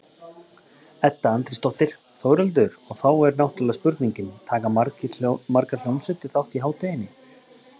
Edda Andrésdóttir: Þórhildur, og þá er náttúrulega spurningin, taka margar hljómsveitir þátt í hátíðinni?